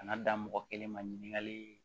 Kana da mɔgɔ kelen ma ɲininkali